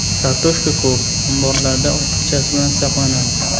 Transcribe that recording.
Kartoshka ko‘p, omborlarda ortiqchasi bilan saqlanadi.